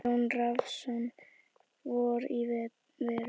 Jón Rafnsson: Vor í verum.